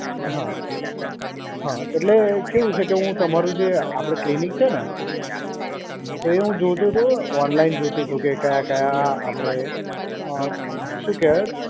હા, હા એટલે કેવું છે કે હું તમારું જે આપડે ક્લિનિક છે ને. તો એ હું જોતો તો ઓનલાઈન જોતો તો કે કયા કયા આપડે અં શું કહેવાય?